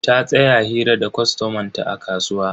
Ta tsaya hira da kwastoman ta a kasuwa.